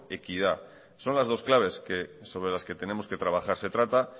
equidad son las dos claves sobre las que tenemos que trabajar se trata